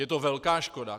Je to velká škoda.